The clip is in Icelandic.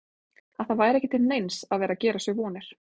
Að það væri ekki til neins að vera að gera sér vonir.